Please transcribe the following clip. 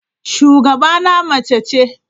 Shugabana mace ce.